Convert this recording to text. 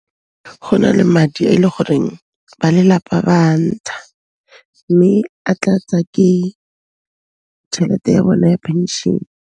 Go na le madi a e le goreng ba lelapa ba ntsha, mme a tlatsa ke tšhelete ya bona ya phenšene.